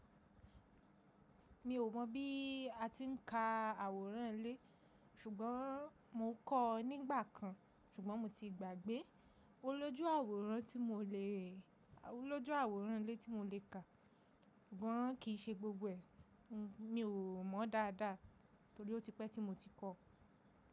Mi ò mọ̀ bí a ti ń ka àwòrán ilé, ṣùgbọ́n mo kọ́ nígbà kan ṣùgbọ́n mo ti gbàgbé. Olójú àwòrán tí mo le, olójú àwòrán ilé tí mo le ka, ṣùgbọ́n kì í ṣe gbogbo ẹ̀. Mi ò mọ̀ dáadáa torí ó ti pẹ́ tí mo ti kọ́ ọ.